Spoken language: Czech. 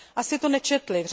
Asi to nečetli.